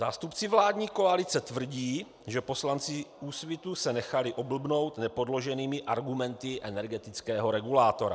Zástupci vládní koalice tvrdí, že poslanci Úsvitu se nechali oblbnout nepodloženými argumenty energetického regulátora.